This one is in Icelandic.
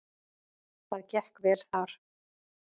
Það gekk vel þar.